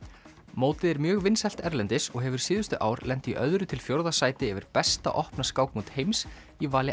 mótið er mjög vinsælt erlendis og hefur síðustu ár lent í öðru til fjórða sæti yfir besta opna skákmót heims í vali